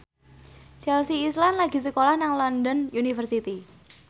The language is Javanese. Chelsea Islan lagi sekolah nang London University